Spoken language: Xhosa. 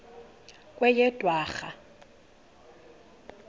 kweyedwarha